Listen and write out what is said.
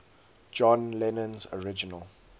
john lennon's original